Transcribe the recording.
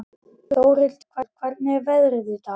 Þórhildur, hvernig er veðrið í dag?